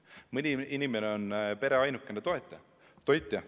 Mõni inimene on pere ainuke toetaja, toitja.